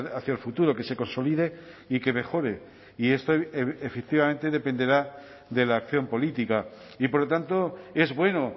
hacia el futuro que se consolide y que mejore y esto efectivamente dependerá de la acción política y por lo tanto es bueno